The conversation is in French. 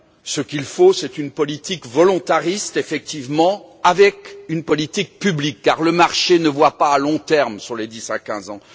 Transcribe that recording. Ce qu'il faut, c'est une politique volontariste, effectivement, avec une politique publique, car le marché ne voit pas à long terme sur les 10 à 15 ans.